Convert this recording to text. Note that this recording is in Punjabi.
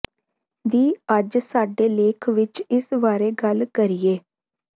ਦੀ ਅੱਜ ਸਾਡੇ ਲੇਖ ਵਿਚ ਇਸ ਬਾਰੇ ਗੱਲ ਕਰੀਏ